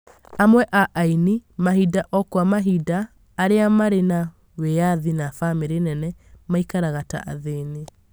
amwe a aini, mahinda o kwa mahinda arĩa marĩ na wĩathi na bamĩrĩ nene, maikaraga ta athĩni